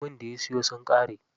Lemun da ya siyo sun ƙare.